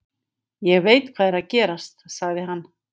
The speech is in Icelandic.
Ég veit hvað er að gerast, sagði hann.